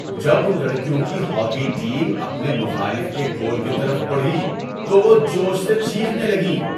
جب ان لڑکیوں کی ہاکی ٹیم اپنے مخالف کے گول کی طرف بڑھی تو وہ جوش سے چیخنے لگیں۔